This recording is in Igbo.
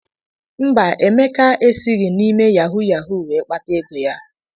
Mba, Emeka esịghị na-ime yahu yahu wee kpata ego ya.